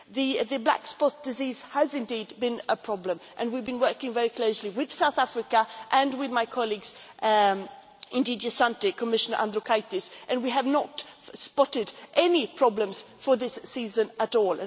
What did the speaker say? The black spot disease has indeed been a problem and we have been working very closely with South Africa and with my colleagues in DG SANTE, Commissioner Andriukaitis, and we have not spotted any problems for this season at all.